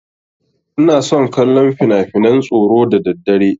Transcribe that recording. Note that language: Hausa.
Ina son kallon finafinan tsoro da daddare.